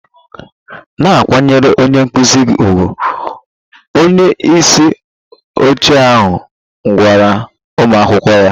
Na-akwanyere onye nkụzi gị ùgwù! Onye isi oche ahụ gwara ụmụ akwụkwọ ahụ